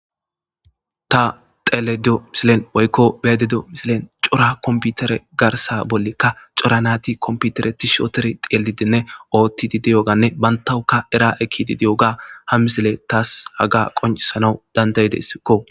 Ia teledo misilen oykko bededo misilen cora komputere garsa bollikka cora nati komputere ti shooter teelidenne oottidi diyoganne bantawuka era ekidi di7oga ha misile taas haga qonisana dandaydessikko